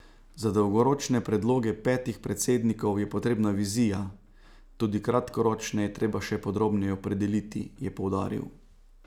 Za dolgoročne predloge petih predsednikov je potrebna vizija, tudi kratkoročne je treba še podrobneje opredeliti, je poudaril.